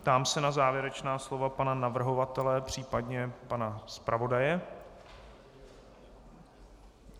Ptám se na závěrečná slova pana navrhovatele případně pana zpravodaje.